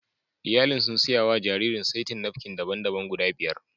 Iyalin sun siya wa jaririn saitin napkin daban-daban guda biyar